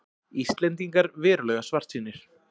Íslendingar verulega svartsýnir